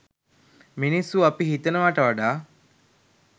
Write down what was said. මිනිස්සු අපි හිතනවට වඩා